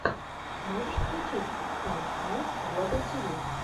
можешь включить файт найтс глобал тиви